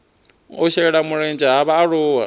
u shela mulenzhe ha vhaaluwa